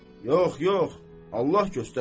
Yox, yox, Allah göstərməsin.